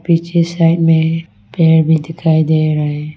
पीछे साइड में पेड़ भी दिखाई दे रहा है।